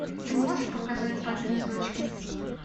ты можешь показать папины дочки